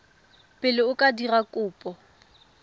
pele o ka dira kopo